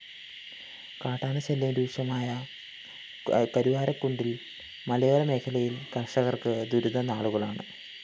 കാട്ടാനശല്യം രൂക്ഷമായ കരുവാരക്കുണ്ടില്‍ മലയോര മേഖയിലെ കര്‍ഷകര്‍ക്ക് ദുരിതനാളുകളാണ്